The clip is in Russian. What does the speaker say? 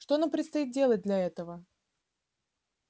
что нам предстоит делать для этого